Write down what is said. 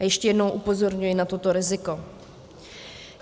A ještě jednou upozorňuji na toto riziko.